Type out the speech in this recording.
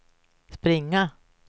springa